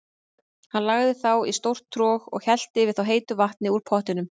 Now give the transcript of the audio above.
Hann lagði þá í stórt trog og hellti yfir þá heitu vatni úr pottinum.